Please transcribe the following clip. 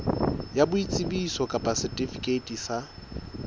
ya boitsebiso kapa setifikeiti sa